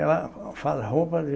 Ela faz roupa de